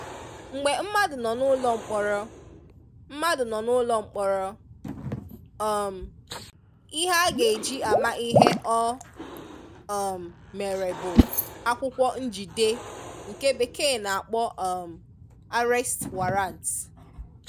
mgbe mmadụ nọ n'ụlọmkpọrọ, mmadụ nọ n'ụlọmkpọrọ, um ihe a ga-eji ama ihe o um mere bụ akwụkwọ njide nke bekee na-akpo um 'arrest warrant'